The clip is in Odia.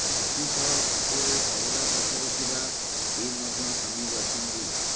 ଏଥିସହ ଫଟୋରେ ପରଦା ପଛରେ ଥିବା ଟିମ ମଧ୍ୟ ସାମିଲ ଅଛନ୍ତି